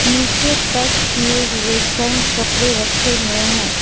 नीचे पैक किए हुए गर्म कपड़े रखे हुए हैं।